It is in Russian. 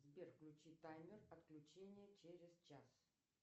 сбер включи таймер отключения через час